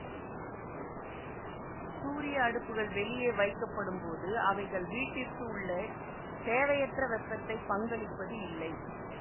சூரிய அடுப்புகள் வெளியே வைக்கப்படும் போது அவைகள் வீட்டிற்கு உள்ளே தேவையற்ற வெப்பத்தை பங்களிப்பது இல்லை